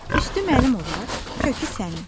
Üstü mənim olar, kökü sənin.